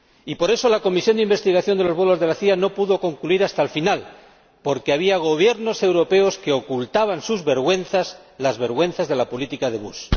Y, por eso, la comisión de investigación de los vuelos de la CIA no pudo llegar hasta el final, porque había Gobiernos europeos que ocultaban sus vergüenzas, las vergüenzas de la política de Bush.